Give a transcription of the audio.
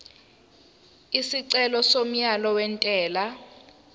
isicelo somyalo wentela